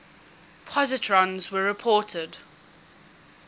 positrons were reported